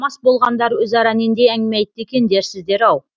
мас болғандар өзара нендей әңгіме айтты екен дерсіздер ау